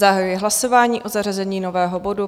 Zahajuji hlasování o zařazení nového bodu.